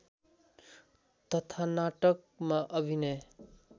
तथा नाटकमा अभिनय